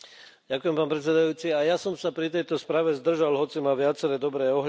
Pán predsedajúci, aj ja som sa pri tejto správe zdržal, hoci má viaceré dobré ohľady.